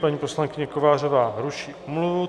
Paní poslankyně Kovářová ruší omluvu.